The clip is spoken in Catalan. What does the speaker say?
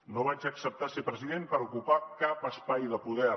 no vaig acceptar ser president per ocupar cap espai de poder